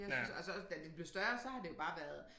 De har syntes altså også da de blev større så har det jo bare været